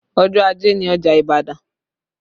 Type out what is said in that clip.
Ọjọ́ ajé ni ọjà Ibadan